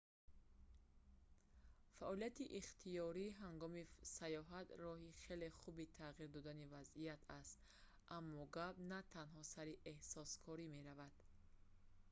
фаъолияти ихтиёрӣ ҳангоми сайёҳат роҳи хеле хуби тағйир додани вазъият аст аммо гап на танҳо сари эҳсонкорӣ меравад